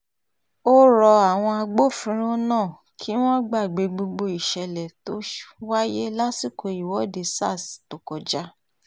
ó rọ àwọn agbófinró náà kí wọ́n gbàgbé gbogbo ìṣẹ̀lẹ̀ tó wáyé lásìkò ìwọ́de sars tó kọjá